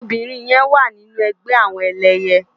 Óbirin yèn wá ninú ègbè àwòn èlèyè